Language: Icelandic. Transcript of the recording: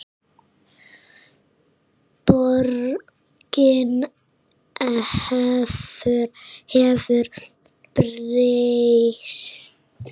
Borgin hefur breyst.